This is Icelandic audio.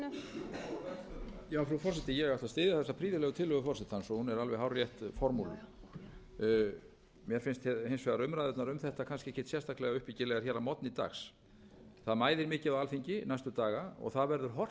formúleruð mér finnst hins vegar umræðurnar um þetta kannski ekki sérstaklega uppbyggilegar að morgni dags það mæðir mikið á alþingi næstu daga og það verður horft